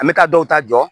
An bɛ ka dɔw ta jɔ